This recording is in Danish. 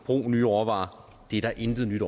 brug nye råvarer er der intet nyt